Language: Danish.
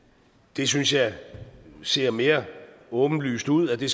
det synes jeg ser mere åbenlyst ud at vi